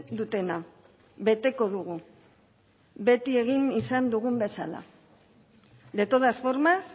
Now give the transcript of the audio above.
dutena beteko dugu beti egin izan dugun bezala de todas formas